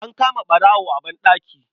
An kama ɓarawo a banɗaki.